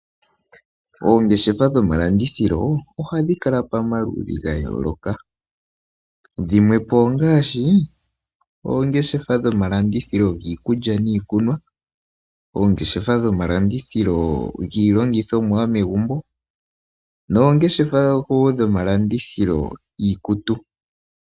Oongeshefa dhomalandithilo ohadhi kala pamaludhi ga yooloka. Dhimwe po ongaashi oongeshefa dhomalandithilo giikulya niikunwa, giilongithomwa yomegumbo, osho wo dhiikutu.